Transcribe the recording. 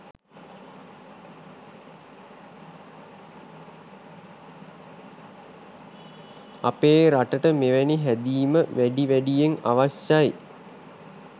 අපේ රටට මෙවැනි හැදීම වැඩි වැඩියෙන් අවශ්‍යයි.